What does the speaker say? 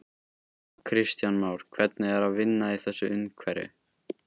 Kristján Már: Hvernig er að vinna í þessu umhverfi?